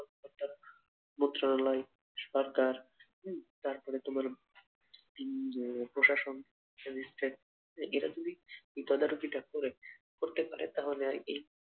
একটা মন্ত্রণালয়, সরকার, উম তারপরে তোমার উম আহ যে প্রশাসন, ম্যাজিস্ট্রেট এরা যদি তোদারুকিটা করে করতে পারে তাহলে এ